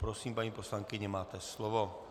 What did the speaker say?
Prosím, paní poslankyně, máte slovo.